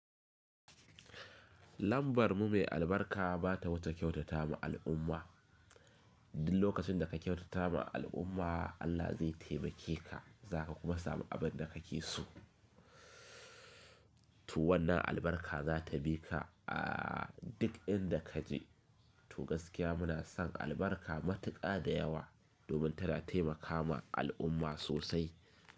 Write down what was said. Lambar mu mai albarka ba ta wuce kyautata ma al'umma. Duk lokacin da ka kyautata ma al'umma, Allah zai taimake ka, za ka kuma samu abin da ka ke so. To wannan albarka za ta bi ka a duk inda ka je. To gaskiya muna son albarka matuƙa da yawa domin tana taimakama al'umma sosai.